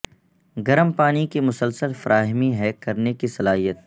گرم پانی کی مسلسل فراہمی ہے کرنے کی صلاحیت